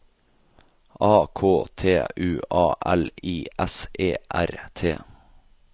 A K T U A L I S E R T